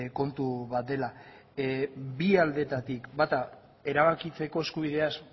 kontu bat dela bi aldeetatik bata erabakitzeko eskubideaz